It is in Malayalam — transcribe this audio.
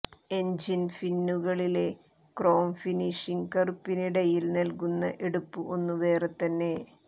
എൻജിൻ ഫിന്നുകളിലെ ക്രോം ഫിനിഷ് കറുപ്പിനിടയിൽ നൽകുന്ന എടുപ്പ് ഒന്നു വേറെതന്നെ